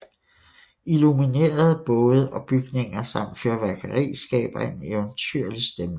Illuminerede både og bygninger samt fyrværkeri skaber en eventyrlig stemning